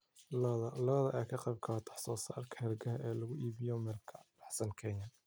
Lo'da lo'da ayaa ka qaybqaata wax soo saarka hargaha ee lagu iibiyo meel ka baxsan Kenya.